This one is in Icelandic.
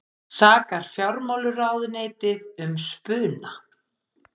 Sakar fjármálaráðuneytið um spuna